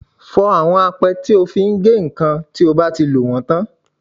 Fọ àwọn apẹ́ tí o fi ń gé nǹkan bí o bá ti lò wọ́n tán.